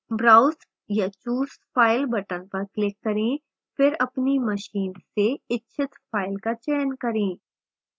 browse या choose file button पर click करें फिर अपनी मशीन से इच्छित फ़ाइल का चयन करें